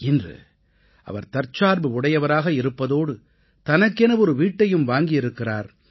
இன்று அவர் தற்சார்பு உடையவராக இருப்பதோடு தனக்கென ஒரு வீட்டையும் வாங்கி இருக்கிறார்